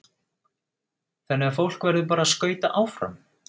Þannig að fólk verður bara að skauta áfram?